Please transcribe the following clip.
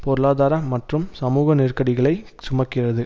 பொருளாதார மற்றும் சமூக நெருக்கடிகளை சுமக்கிறது